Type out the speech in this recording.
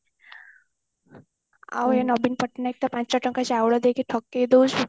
ଆଉ ନବୀନ ପଟ୍ଟନାୟକ ତ ପାଞ୍ଚ ଟଙ୍କାର ଚାଉଳ ଦେଇକି ଠକି ଦଉଛି